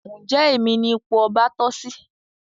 Njé Èmi ní ipò ọba toh sí?